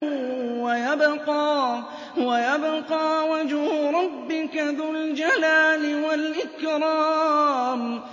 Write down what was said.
وَيَبْقَىٰ وَجْهُ رَبِّكَ ذُو الْجَلَالِ وَالْإِكْرَامِ